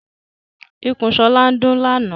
Ikùn Shola ndún làna.